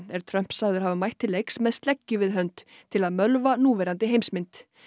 er Trump sagður hafa mætt til leiks með sleggju við hönd til að mölva núverandi heimsmynd